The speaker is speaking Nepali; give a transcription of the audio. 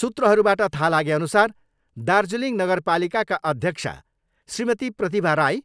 सूत्रहरूबाट थाहा लागेअनुसार दार्जिलिङ नगरपालिकाका अध्यक्षा श्रीमती प्रतिभा राई